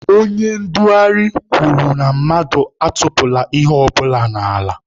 Onye ndugharị kwuru mmadụ atụpụla ihe ọbụla n'ala.